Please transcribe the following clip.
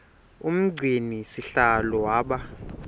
umgcini sihlalo waba